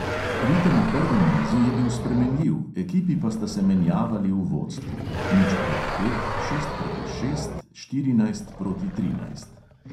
Ritem v prvem nizu je bil spremenljiv, ekipi pa sta se menjavali v vodstvu (nič proti pet, šest proti šest, štirinajst proti trinajst).